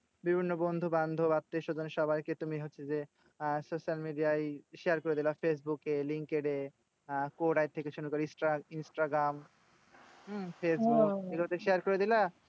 বিভিন্ন বন্ধুবান্ধব আত্মীয়স্বজন সবাইকে তুমি হচ্ছে যে, আহ social media য় share করে দিলা। ফেসবুকে link এ আহ instagram হম ফেসবুক এগুলোতে share করে দিলা।